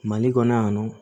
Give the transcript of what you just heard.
Mali kɔnɔ yan nɔ